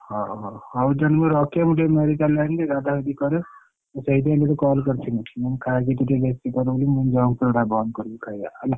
ହଉ ହଉ ହଉ ଦେ ମୁଁ ରଖେ ମୁଁ ଟିକେ medical ଯାଇଥିଲି ଗାଧା ଗାଧି କରେ ମୁଁ ସେଇଥିପାଇଁ ତତେ call କରିଥିଲି ତୁ junk food ଅରା ବନ୍ଦ କରିବୁ ଖାଇବା ହେଲା।